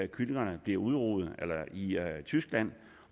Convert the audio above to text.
kyllingerne bliver udruget i tyskland